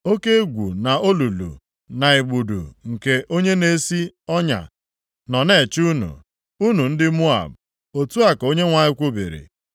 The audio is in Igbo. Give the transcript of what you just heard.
Oke egwu na olulu, na igbudu nke onye na-esi ọnya nọ na-eche unu, unu ndị Moab,” Otu a ka Onyenwe anyị kwubiri.